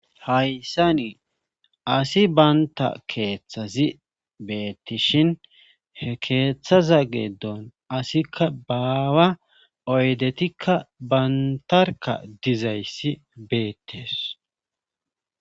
hayssa nii asi banta keeththazi beettishin he keeththaza geeddon asikka baawa oydetikka bantarka dizayssi beettes